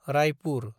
Raipur